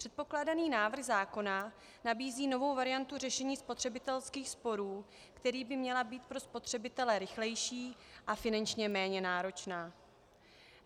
Předkládaný návrh zákona nabízí novou variantu řešení spotřebitelských sporů, která by měla být pro spotřebitele rychlejší a finančně méně náročná.